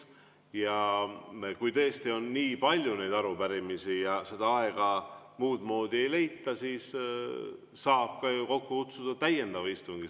Ja kui tõesti on nii palju neid arupärimisi ja seda aega muudmoodi ei leita, siis saab kokku kutsuda täiendava istungi.